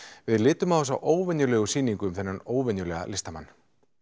við litum á þessa óvenjulegu sýningu um þennan óvenjulega listamann